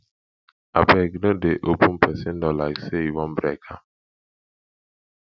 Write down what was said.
abeg no dey open pesin door like sey you wan break am